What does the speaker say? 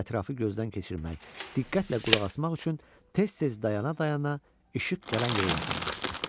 Ətrafı gözdən keçirmək, diqqətlə qulaq asmaq üçün tez-tez dayana-dayana işıq gələn yerə yaxınlaşdı.